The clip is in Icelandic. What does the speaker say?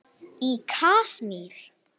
Í Kasmír,